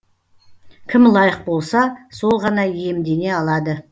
кім лайық болса сол ғана иемдене алады